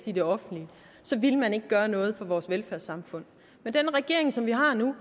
i det offentlige ville man ikke gøre noget for vores velfærdssamfund men den regering som vi har nu